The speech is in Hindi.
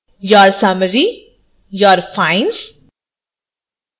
your summary your fines